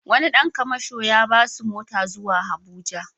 Wani ɗan kamasho ya ba su mota zuwa Abuja.